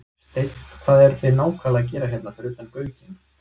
Steinn, hvað eruð þið nákvæmlega að gera hérna fyrir utan Gaukinn?